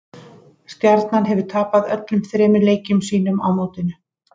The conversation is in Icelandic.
Stjarnan hefur tapað öllum þremur leikjum sínum á mótinu.